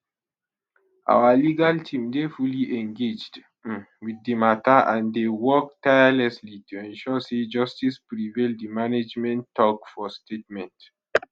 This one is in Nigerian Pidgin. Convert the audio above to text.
our legal team dey fully engaged um wit di mata and dey work tirelessly to ensure say justice prevail di management tok for statement um